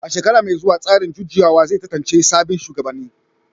A shekara mai zuwa, tsarin jujjuyawar zai tantance sabbin shugabannin